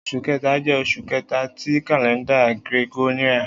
Oṣu Kẹta jẹ oṣu kẹta ti kalẹnda Gregorian